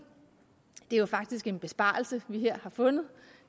det er jo faktisk en besparelse vi her har fundet